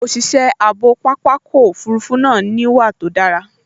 Òṣìṣẹ́ ààbò pápákọ̀ òfurufú náà níwà tó dára